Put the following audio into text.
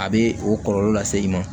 A bɛ o kɔlɔlɔ lase i ma